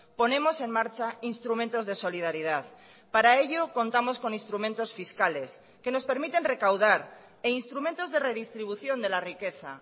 ponemos en marcha instrumentos de solidaridad para ello contamos con instrumentos fiscales que nos permiten recaudar e instrumentos de redistribución de la riqueza